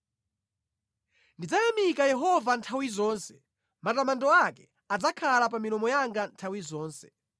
Ndidzayamika Yehova nthawi zonse; matamando ake adzakhala pa milomo yanga nthawi zonse.